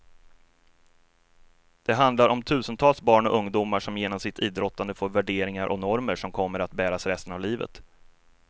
Det handlar om tusentals barn och ungdomar som genom sitt idrottande får värderingar och normer som kommer att bäras resten av livet.